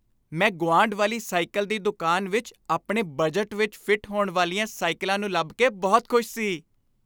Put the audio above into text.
ਮੈਂ ਗੁਆਂਢ ਵਾਲੀ ਸਾਈਕਲ ਦੀ ਦੁਕਾਨ ਵਿੱਚ ਆਪਣੇ ਬਜਟ ਵਿੱਚ ਫਿੱਟ ਹੋਣ ਵਾਲੀਆਂ ਸਾਈਕਲਾਂ ਨੂੰ ਲੱਭ ਕੇ ਬਹੁਤ ਖੁਸ਼ ਸੀ।